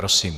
Prosím.